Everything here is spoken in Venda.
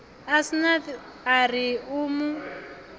asnath a ri u mu